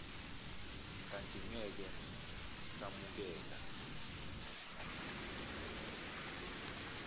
kanti ngeke samukela